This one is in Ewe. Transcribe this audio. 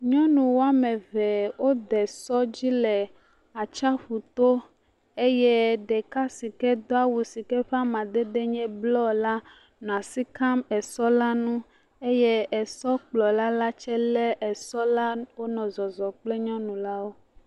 Nyɔnu woame eve wode sɔ dzi le atsiaƒu to eye ɖeka si do awu si ke ƒe amadede nye blɔ la, nɔ asi kam esɔ la ŋŋ eye esɔkplɔla la tsɛ lé esɔ la wonɔ zɔzɔm kple nyɔnu lawo.